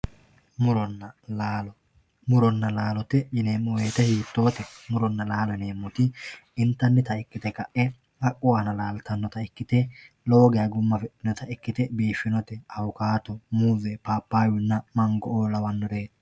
muronna laalo muronna laalote yineemmo wote hiittoote muronna laalo yineemmoti intannita ikkite ka'e haqqu aana laaltannota ikkite lowo geya gumma afidhinota ikkite biifinote awukaato muuze paapaayyunna mango''oo lawannoreeti.